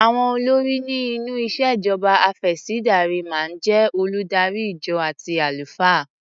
Àwọn olórí ni inú ìṣèjọba afẹ̀sìndarímáa ń jé oludari ìjọ àti àlùfáà.